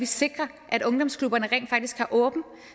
sikre at ungdomsklubberne rent faktisk har åben